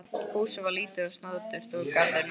Húsið var lítið og snoturt og garðurinn vel hirtur.